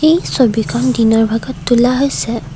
এই ছবিখন দিনৰ ভাগত তোলা হৈছে।